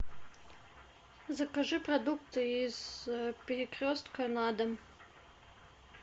закажи продукты из перекрестка на дом